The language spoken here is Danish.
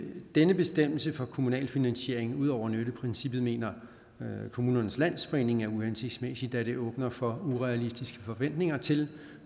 denne bestemmelse om kommunal finansiering ud over nytteprincippet mener kommunernes landsforening er uhensigtsmæssig da det åbner for urealistiske forventninger til